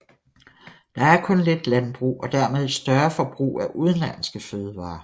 Der er kun lidt landbrug og dermed et større forbrug af udenlandske fødevarer